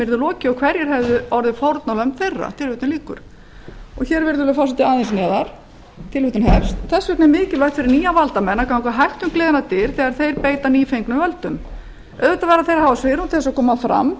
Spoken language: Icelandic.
yrði lokið og hverjir hefðu orðið fórnarlömb þeirra aðeins neðar stendur þess vegna er mikilvægt fyrir nýja valdamenn að ganga hægt um gleðinnar dyr þegar þeir beita nýfengnum völdum auðvitað verða þeir að hafa svigrúm til að koma fram